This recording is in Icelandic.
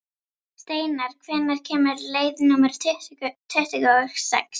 Steinar, hvenær kemur leið númer tuttugu og sex?